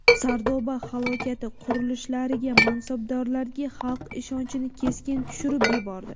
Sardoba halokati qurilishlarga, mansabdorlarga xalq ishonchini keskin tushirib yubordi.